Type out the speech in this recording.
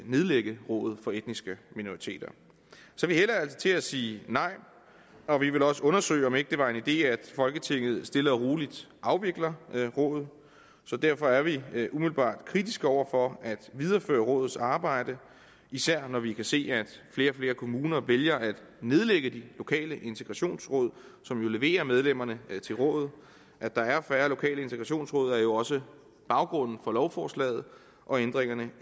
nedlægge rådet for etniske minoriteter så vi hælder altså til at sige nej og vi vil også undersøge om ikke det var en idé at folketinget stille og roligt afviklede rådet så derfor er vi umiddelbart kritiske over for at videreføre rådets arbejde især når vi kan se at flere og flere kommuner vælger at nedlægge de lokale integrationsråd som jo leverer medlemmerne til rådet at der er færre lokale integrationsråd er jo også baggrunden for lovforslaget og ændringerne